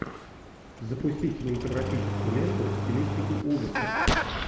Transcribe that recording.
запусти кинематографическую ленту в стилистике ужасов